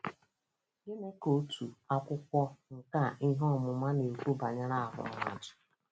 Gịnị ka otu akwụkwọ nkà ihe ọmụma na-ekwu banyere ahụ́ mmadụ?